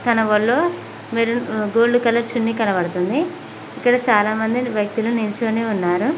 తన వళ్ళో maroon gold colour చున్నీ కనబడుతుంది ఇక్కడ చాలామందిని వ్యక్తులు నిల్చొని ఉన్నారు.